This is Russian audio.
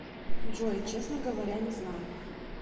джой честно говоря не знаю